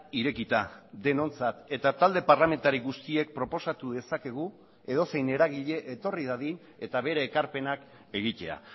irekita denontzat eta talde parlamentari guztiek proposatu dezakegu edozein eragile etorri dadin eta bere ekarpenak egitea